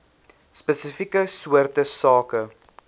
spesifieke soorte sake